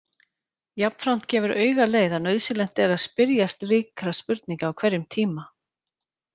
Jafnframt gefur auga leið að nauðsynlegt er að spyrja slíkra spurninga á hverjum tíma.